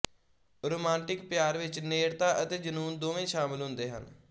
romantic ਪਿਆਰ ਵਿੱਚ ਨੇੜਤਾ ਅਤੇ ਜਨੂੰਨ ਦੋਵੇਂ ਸ਼ਾਮਲ ਹੁੰਦੇ ਹਨ